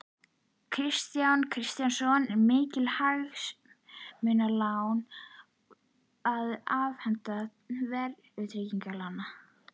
Bókmenntir, lýðræði, slúður úr Vikunni, óhlutbundna myndlist, verkalýðsfélög og prjónauppskriftir.